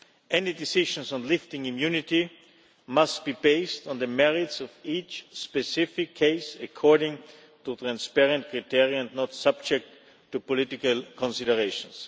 Any decisions on lifting immunity must be based on the merits of each specific case, according to transparent criteria not subject to political considerations.